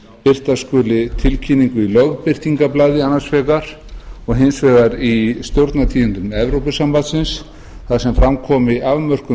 birta skulu tilkynningu í lögbirtingablaði annars vegar en hins vegar í stjórnartíðindum evrópusambandsins þar sem fram komi afmörkun